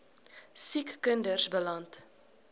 siek kinders beland